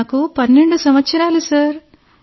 నాకు 12 సంవత్సరాలు సార్